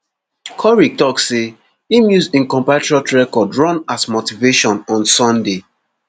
korir tok say im use im compatriot record run as motivation on sunday